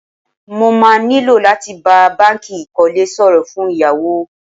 Mo má nílò láti bá báńkì ìkólé sọ̀rọ̀ fún ìyáwó.